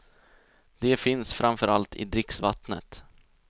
De finns framför allt i dricksvattnet.